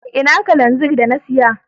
Ina Kananzir da na siya.